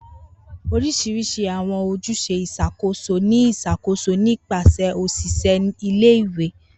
Orisirisi awọn ojuse iṣakoso ni iṣakoso nipasẹ oṣiṣẹ ìle-ìwe.